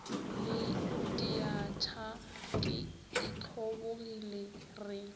le diatšha ke itlhobogile re